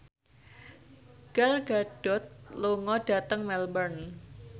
Gal Gadot lunga dhateng Melbourne